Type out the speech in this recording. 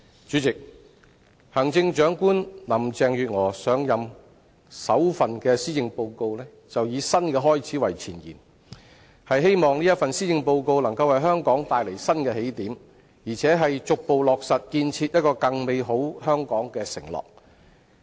主席，行政長官林鄭月娥上任後首份施政報告以"新的開始"為前言，希望這份施政報告能夠為香港帶來新的起點，而且逐步落實建設一個更美好香港的承諾。